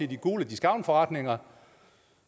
de gule discountforretninger